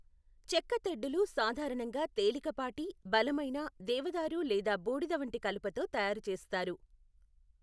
చెక్కతెడ్డులు సాధారణంగా తేలికపాటి, బలమైన, దేవదారు లేదా బూడిద వంటి కలపతో తయారు చేస్తారు.